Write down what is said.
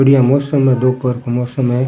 बढ़िया मौसम है दोपहर का मौसम है।